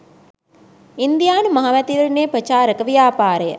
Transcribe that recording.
ඉන්දියානු මහමැතිවරණ ප්‍රචාරක ව්‍යාපාරය